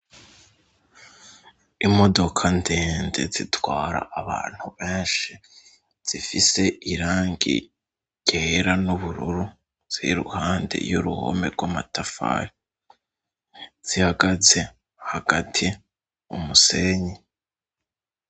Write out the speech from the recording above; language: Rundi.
Imodoka ndende zitwara abantu benshi zifise irangi ryera n'ubururu ziri iruhande y'uruhome gw'amatafari zihagaze hagati umusenyi.